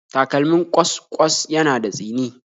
Takalmin ƙwas-ƙwas yana da tsini